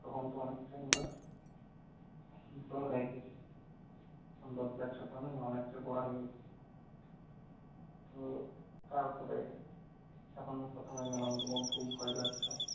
তখন connection টা ছিদ্র হয়ে গেছে। অনেকটা পড়া তো তারপরে যখন প্রথমে গেলাম খুব ভয় লাগলো।